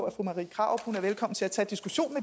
at fru marie krarup kan tage diskussionen